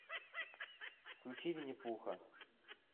включи винни пуха